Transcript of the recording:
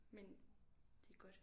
Men det er godt